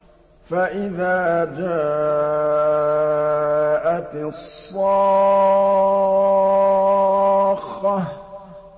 فَإِذَا جَاءَتِ الصَّاخَّةُ